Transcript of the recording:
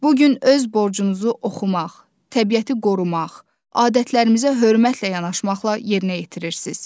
Bu gün öz borcunuzu oxumaq, təbiəti qorumaq, adətlərimizə hörmətlə yanaşmaqla yerinə yetirirsiz.